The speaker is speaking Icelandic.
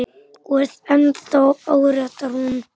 Og er ennþá áréttar hún.